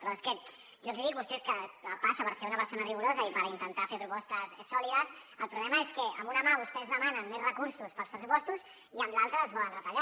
però és que jo els ho dic vostè que passa per ser una persona rigorosa i per intentar fer propostes sòlides el problema és que amb una mà vostès demanen més recursos per als pressupostos i amb l’altra els volen retallar